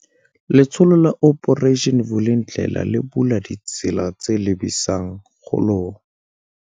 Letsholo la Operation Vulindlela le bula ditsela tse lebisang kgolong